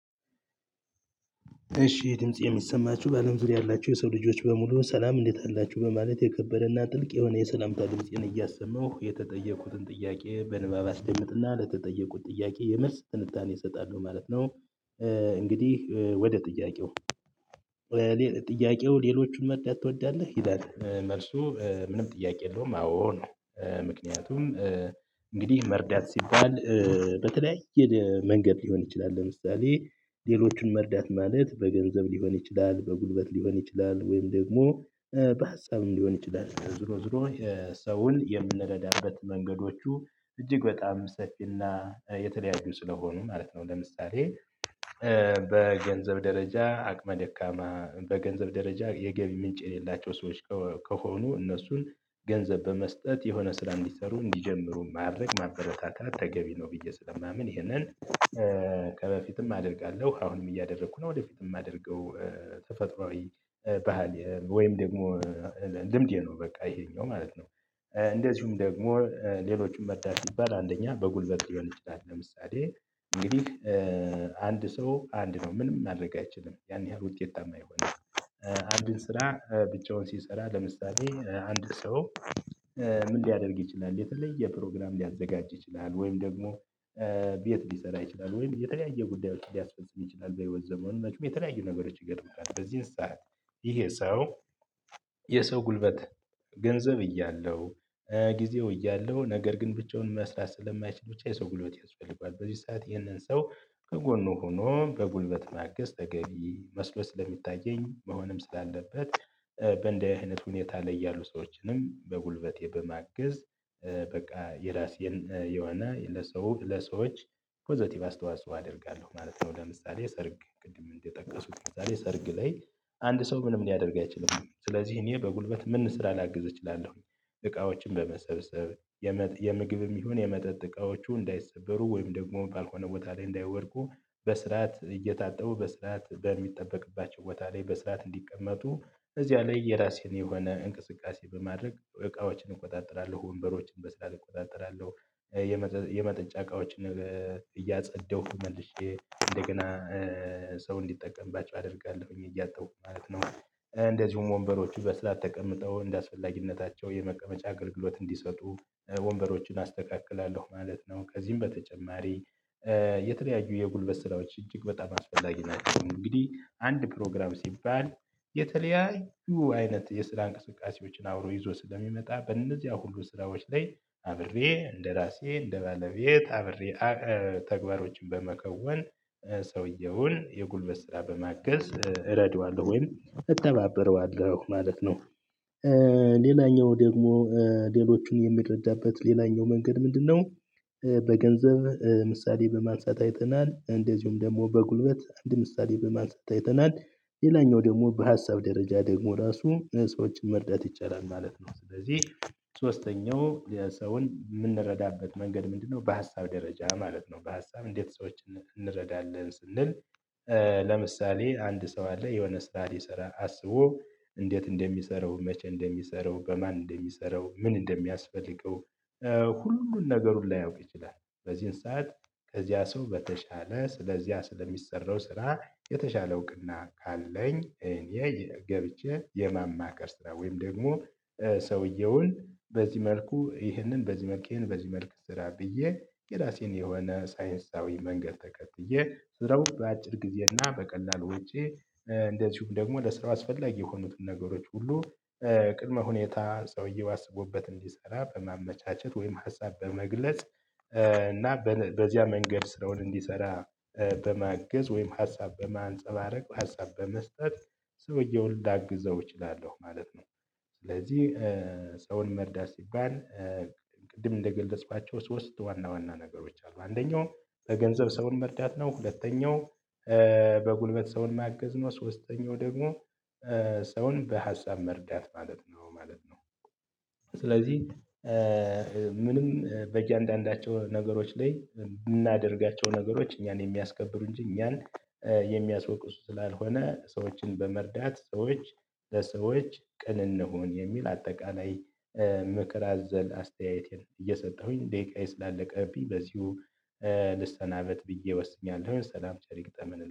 እሺ ድምፄ የሚሰማችሁ ባለም ዙሪያ ያላችሁ የሰው ልጆች በሙሉ ሰላም እንዴት አላችሁ በማለት የከበደና ጥልቅ የሆነ የሰላምታ ድምጽን እያሰማሁ የተጠየቁትን ጥያቄ በንባብ አስደምጥና ለተጠየቁት ጥያቄ የመልስ ትንታኔ እሰጣለሁ ማለት ነው። እንግዲህ ወደ ጥያቄው ጥያቄው ሌሎቹን መርዳት ትወዳለህ ይላል? መልሱ ምንም ጥያቄ የለውም አዎ ነው። ምክንያቱም እንግዲህ መርዳት ሲባል በተለያየ መንገድ ሊሆን ይችላል። ለምሳሌ ሌሎቹን መርዳት ማለት በገንዘብ ሊሆን ይችላል በጉልበት ሊሆን ይችላል። ወይም ደግሞ በሀሳብም ሊሆን ይችላል። ዞሮ ዞሮ ሰውን የምንረዳበት መንገዶቹ እጅግ በጣም ሰፊና የተለያዩ ስለሆኑ ማለት ነው። ለምሳሌ በገንዘብ ደረጃ አቅመ ደካማ በገንዘብ ደረጃ የገቢ ምንጭ የሌላቸው ሰዎች ከሆኑ እነሱን ገንዘብ በመስጠት የሆነ ስራ እንዲሰሩ እንዲጀምሩ ማድረግ ማበረታታት ተገቢ ነው ብዬ ስለማምን። ይሄንን ከበፊትም አደርጋለሁ አሁንም እያደረኩ ነው። ወደፊት የማደርገው ተፈጥሮአዊ ባህል ወይም ደግሞ ልምዴ ነው። በቃ ይሄኛው ማለት ነው። እንደዚሁም ደግሞ ሌሎችም መርዳት ሲባል አንደኛ በጉልበት ሊሆን ይችላል ለምሳሌ እንግዲህ አንድ ሰው አንድ ነው ምንም ማድረግ አይችልም ያን ያህል ውጤታማ አይሆንም። አንድን ስራ ብቻውን ሲሰራ ለምሳሌ አንድ ሰው። ምን ሊያደርግ ይችላል የተለየ ፕሮግራም ሊያዘጋጅ ይችላል። ወይም ደግሞ ቤት ሊሰራ ይችላል ወይም የተለያየ ጉዳዮች ሊያስፈልጉት ይችላል። በህይወት ዘመኑ የተለያዩ ነገሮች ይገጥሙታል። በዚህን ሰዓት ይሄ ሰው የሰው ጉልበት ገንዘብ እያለው ጊዜው እያለው ነገር ግን ብቻውን መስራት ስለማይችል ብቻ የሰው ጉልበት ያስፈልገዋል። በዚህ ሰዓት ይህንን ሰው ከጎኑ ሆኖ በጉልበት ማገዝ ተገቢ መስሎ ስለሚታየኝ መሆንም ስላለበት በእንዲህ አይነት ሁኔታ ላይ ያሉ ሰዎችንም በጉልበቴ በማገዝ። በቃ የራሴን የሆነ ለሰው ለሰዎች ፖዘቲቭ አስተዋጽኦ አደርጋለሁ ማለት ነው። ለምሳሌ ሰርግ ቅድም እንደጠቀሱት የዛሬ ሰርግ ላይ አንድ ሰው ምንም ሊያደርግ አይችልም ስለዚህ እኔ በጉልበት ምን ስራ ላግዝ እችላለሁ። እቃዎችን በመሰብሰብ የምግብም ይሁን የመጠጥ እቃዎቹ እንዳይሰበሩ ወይም ደግሞ ባልሆነ ቦታ ላይ እንዳይወድቁ በስርዓት እየታጠቡ በስርዓት በሚጠበቅባቸው ቦታ ላይ በስርዓት እንዲቀመጡ እዚያ ላይ የራሴን የሆነ እንቅስቃሴ በማድረግ እቃዎችን እቆጣጠራለሁ። ወንበሮችን በስራ እቆጣጠራለሁ። የመጠጫ እቃዎችን እያጸዳሁ መልሼ እንደገና ሰው እንዲጠቀምባቸው አደርጋለሁኝ እያጠቡ ማለት ነው። እንደዚሁም ወንበሮቹ በስርዓት ተቀምጠው እንደአስፈላጊነታቸው የመቀመጫ አገልግሎት እንዲሰጡ ወንበሮችን አስተካክላለሁ ማለት ነው። ከዚህም በተጨማሪ የተለያዩ የጉልበት ስራዎች እጅግ በጣም አስፈላጊ ናቸው። እንግዲህ አንድ ፕሮግራም ሲባል የተለያዩ አይነት የስራ እንቅስቃሴዎችን አብሮ ይዞ ስለሚመጣ በእነዚያ ሁሉ ስራዎች ላይ አብሬ እንደራሴ እንደባለቤት አብሬ ተግባሮችን በመከወን ሰውየውን የጉልበት ስራ በማገዝ እረዳዋለሁ ወይም እተባበረዋለሁ ማለት ነው። ሌላኛው ደግሞ ሌሎቹን የምረዳበት ሌላኛው መንገድ ምንድነው? በገንዘብ ምሳሌ በማንሳት አይተናል እንደዚሁም ደግሞ በጉልበት አንድ ምሳሌ በማንሳት አይተናል። ሌላኛው ደግሞ በሀሳብ ደረጃ ደግሞ ራሱ ሰዎችን መርዳት ይቻላል ማለት ነው። ስለዚህ ሶስተኛው የሰውን የምንረዳበት መንገድ ምንድነው? በሀሳብ ደረጃ ማለት ነው። በሀሳብ እንዴት ሰዎች እንረዳለን ስንል ለምሳሌ አንድ ሰው አለ የሆነ ስራ ሊሰራ አስቦ እንዴት እንደሚሰራው መቼ እንደሚሰራው በማን እንደሚሰራው ምን እንደሚያስፈልገው ሁሉን ነገር ላያውቅ ይችላል። በዚህን ሰዓት ከዚያ ሰው በተሻለ ስለዚያ ስለሚሰራው ስራ የተሻለ እውቅና ካለኝ እኔ ገብቼ የማማከር ስራ ወይም ደግሞ ሰውየውን በዚህ መልኩ ይህንን በዚህ መልክ ይህንን በዚህ መልክ ስራ ብዬ የራሴን የሆነ ሳይንሳዊ መንገድ ተከትዬ ስራው በአጭር ጊዜና በቀላል ወጪ። እንደዚሁም ደግሞ ለስራው አስፈላጊ የሆኑትን ነገሮች ሁሉ ቅድመ ሁኔታ ሰውዬው አስቦበት እንዲሰራ በማመቻቸት ወይም ሀሳብ በመግለጽ እና በዚያ መንገድ ስራውን እንዲሰራ በማግዝ ወይም ሀሳብ በማንፀባረቅ ሀሳብ በመስጠት ሰውየውን ላግዘው እችላለሁ ማለት ነው። ስለዚህ ሰውን መርዳት ሲባል ቅድም እንደገለጽኳቸው ሶስት ዋና ዋና ነገሮች አሉ። አንደኛው በገንዘብ ሰውን መርዳት ነው። ሁለተኛው በጉልበት ሰውን ማገዝ ነው። ሶስተኛው ደግሞ ሰውን በሀሳብ መርዳት ማለት ነው ማለት ነው። ስለዚህ ምንም በእያንዳንዳቸው ነገሮች ላይ የምናደርጋቸው ነገሮች እኛን የሚያስከብሩ እንጂ እኛን የሚያስወቅሱ ስላልሆነ ሰዎችን በመርዳት ሰዎች ለሰዎች ቅን እንሁን የሚል አጠቃላይ ምክር አዘል አስተያየቴን እየሰጠሁኝ ደቂቃዬ ስላለቀብኝ በዚሁ ልስተናበት ብዬ ወስኛለሁ። ሰላም ቸር ይግጠመን